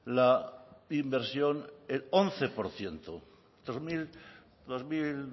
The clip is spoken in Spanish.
la inversión el once por ciento dos mil